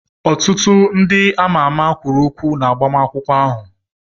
Ọtụtụ ndị ama ama kwuru okwu na agbamakwụkwọ ahụ.